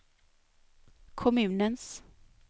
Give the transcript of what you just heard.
kommunens